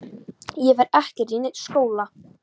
Ég fer ekkert í neinn skóla!